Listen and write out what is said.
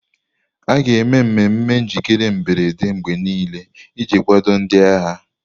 A ga-eme mmemme njikere mberede mgbe niile iji kwado ndị agha.